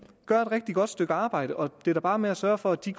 gør et rigtig godt stykke arbejde og det er da bare med at sørge for at de